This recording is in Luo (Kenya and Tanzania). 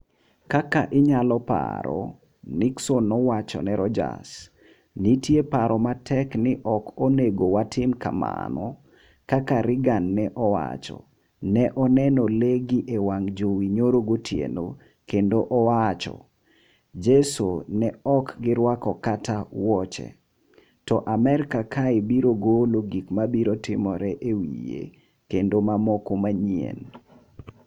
"Kaka inyalo paro,” Nixon nowacho ne Rogers, nitie paro matek ni ok onego watim kamano, kaka Reagan ne owacho, ne oneno le gi e wang' jowi nyoro gotieno konde owacho ,jeso, ne ok giruako kata wuoche ,to Amerka kae biro golo gik mabiro timore e wiye, kendo mamoko mang’eny.